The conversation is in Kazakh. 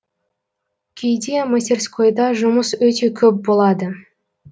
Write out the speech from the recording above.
кейде мастерскойда жұмыс өте көп болады